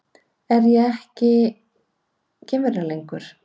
Er ég þá ekki geimvera lengur?